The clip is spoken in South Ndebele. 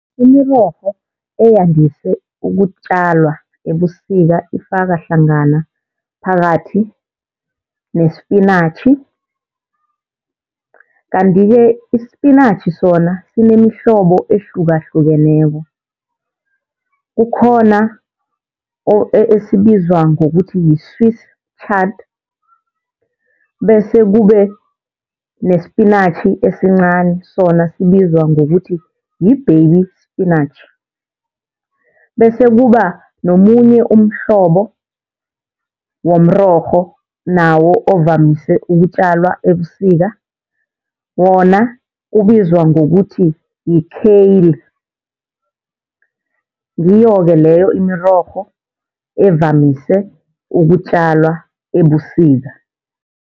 Imirorho eyandise ukutjalwa ebusika ifaka hlangana phakathi nespinatjhi. Kanti-ke ispinatjhi sona sinemihlobo ehlukahlukeneko, kukhona esibizwa ngokuthi yi-swiss chard, bese kube nespinatjhi esincani sona sibizwa ngokuthi yi-baby spinach. Bese kuba nomunye umhlobo womrorho nawo ovamise ukutjalwa ebusika wona ubizwa ngokuthi yi-kale. Ngiyo-ke leyo imirorho evamise ukutjalwa ebusika.